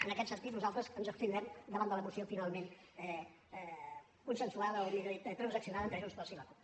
en aquest sentit nosaltres ens abstindrem davant de la moció finalment consensuada o millor dit transaccionada entre junts pel sí i la cup